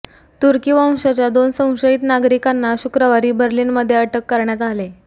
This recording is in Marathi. तुर्की वंशांच्या दोन संशयित नागरिकांना शुक्रवारी बर्लिनमध्ये अटक करण्यात आले